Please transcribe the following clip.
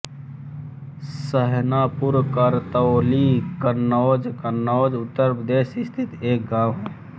सहनापुर करतौली कन्नौज कन्नौज उत्तर प्रदेश स्थित एक गाँव है